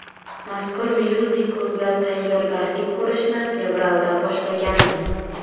Mazkur myuziklga tayyorgarlik ko‘rishni fevralda boshlaganmiz.